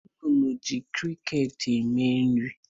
Umununu ji kriket eme nri